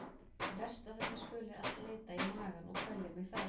Verst að þetta skuli allt leita í magann og kvelja mig þar.